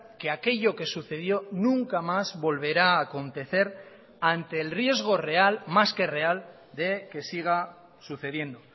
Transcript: que aquello que sucedió nunca más volverá a acontecer ante el riesgo real más que real de que siga sucediendo